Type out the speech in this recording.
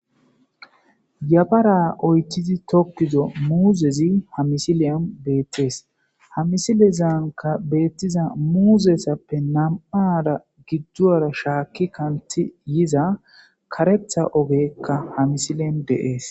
Yabara oytizi tokkizo muuzezi hamisileyon beettees hamisilezanka beettiza muuzesappe nam'ada gidduara shaakki kanti yiza karetha ogekka hamisilen deees.